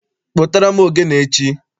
Kpụtara m ogene echi!